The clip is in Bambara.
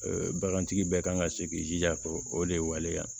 Bagantigi bɛɛ kan ka se k'i jija ko o de ye waleya